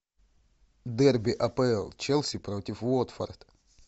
дерби апл челси против уотфорд